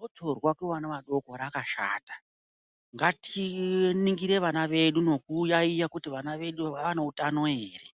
Gotsorwa kuvana vadoko rakashata ngati ningire vana vedu neku yayiya kuti vana vedu vane utano ere